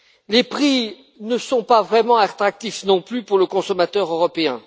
Les prix ne sont pas vraiment attractifs non plus pour le consommateur européen.